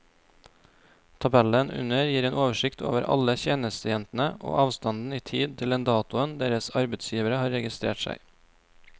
Tabellen under gir en oversikt over alle tjenestejentene og avstanden i tid til den datoen deres arbeidsgivere har registrert seg.